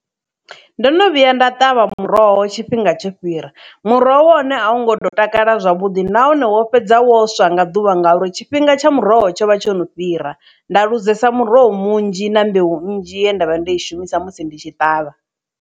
Ndo no vhuya nda ṱavha muroho tshifhinga tsho fhira muroho wa hone a wungo tsha takala zwavhuḓi nahone wo fhedza wo swa nga ḓuvha ngauri tshifhinga tsha muroho tsho vha tsho no fhira nda luzesa muroho munzhi na mbeu nnzhi ye ndavha ndo i shumisa musi ndi tshi ṱavha.